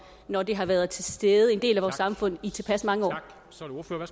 når det har været til stede som en del af vores samfund i tilpas mange